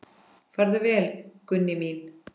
Farðu vel, Gunný mín.